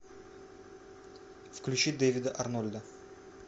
включи дэвида арнольда